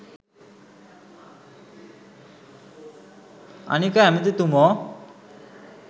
අනික ඇමතිතුමෝ